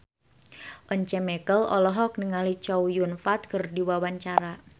Once Mekel olohok ningali Chow Yun Fat keur diwawancara